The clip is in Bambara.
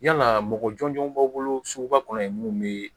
Yalaa mɔgɔ jɔnjɔn b'a bolo suguba kɔnɔ ye mun bɛ